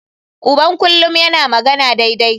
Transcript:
Uban kullum yana magana daidai.